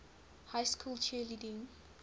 high school cheerleading